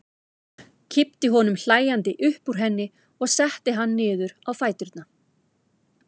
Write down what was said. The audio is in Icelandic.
Kippti honum hlæjandi upp úr henni og setti hann niður á fæturna.